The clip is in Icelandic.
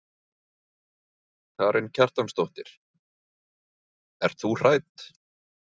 Karen Kjartansdóttir: Ert þú hrædd?